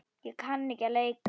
Ég kann ekki að leika.